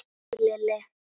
Hæ Lilli!